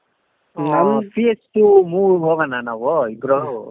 ಒಂದ್ PH movie ಗೆ ಹೋಗೋಣ ನಾವು ಇಬ್ರು